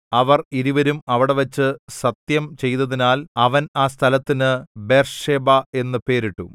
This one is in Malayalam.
അവർ ഇരുവരും അവിടെവച്ച് സത്യം ചെയ്തതിനാൽ അവൻ ആ സ്ഥലത്തിന് ബേർശേബ എന്നു പേരിട്ടു